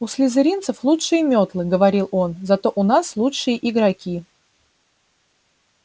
у слизеринцев лучшие мётлы говорил он зато у нас лучшие игроки